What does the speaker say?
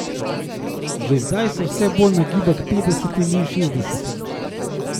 Že zdaj se vse bolj nagiba k petdesetim in šestdesetim.